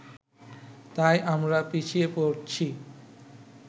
তাই আমরা পিছিয়ে পড়ছি